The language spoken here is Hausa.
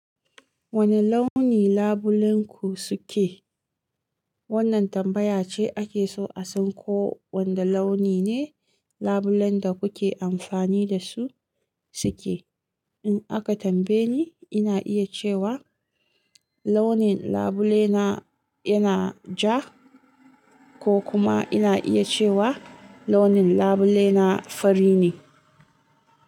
Wane launi labulenku suke? Wannan tambaya ce ake so a san ko wanda launi ne labulen da kuke amfani da su suke. In aka tambaye ni, ina iya cewa launin labule na yana ja, ko kuma ina iya cewa launin labule na fari ne.